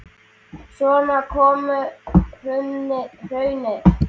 Svo kom hrunið.